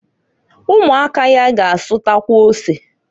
Umuaka ya ga asutawa ose.